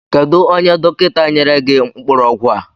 Kedu onye dọkịta nyere gị mkpụrụ ọgwụ a?